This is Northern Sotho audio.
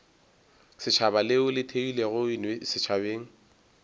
setšhaba leo le theilwego setšhabeng